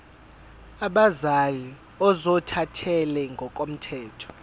abazali ozothathele ngokomthetho